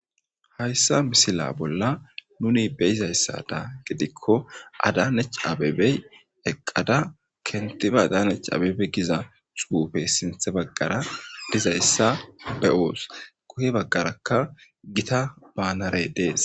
Hayssa misila bolla nuni beyizayssada gidikko adane c abebey eqqada kentiba adanecaabebe giza xuuufe sinthe baggara dizayssa be oos kuhe baggarakka gita baanarey dees.